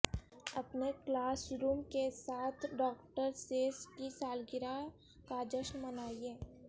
اپنے classroom کے ساتھ ڈاکٹر سیس کی سالگرہ کا جشن منائیں